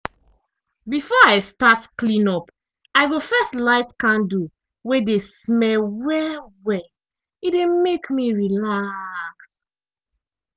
before i start clean up i go first light candle wey dey smell well-well e dey mek me relax.